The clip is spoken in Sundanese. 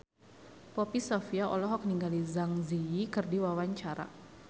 Poppy Sovia olohok ningali Zang Zi Yi keur diwawancara